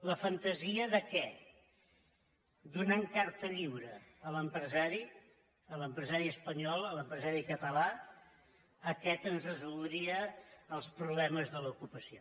la fantasia de què donant carta lliure a l’empresari a l’empresari espanyol a l’empresari català aquest ens resoldria els problemes de l’ocu·pació